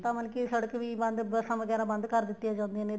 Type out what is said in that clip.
ਤਾਂ ਮਤਲਬ ਕੀ ਸੜਕ ਵੀ ਬੰਦ ਬੱਸਾਂ ਵਗੈਰਾ ਬੰਦ ਕਰ ਦਿੱਤੀਆਂ ਜਾਂਦੀਆਂ ਨੇ